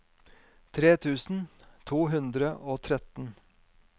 tre tusen to hundre og tretten